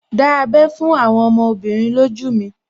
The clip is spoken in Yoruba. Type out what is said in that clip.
Dá abẹ́ fún àwọn ọmọbìnrin lójú mi